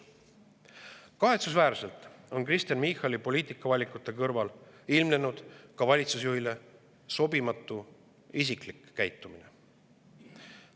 Kahetsusväärselt on Kristen Michali poliitikavalikute kõrval ilmnenud ka valitsusjuhile sobimatu isiklik käitumine.